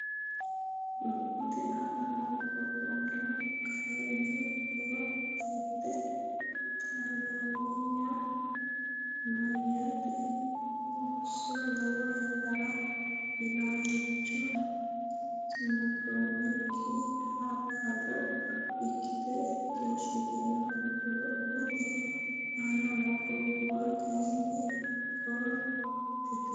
Lophate aana noo gobbuwara kayinni, koo teete taalloonyinna meyaate qoosso lowo yannara illacha tungoonnikki hajo ikkite keeshshitino Lophate aana noo gobbuwara kayinni, koo teete.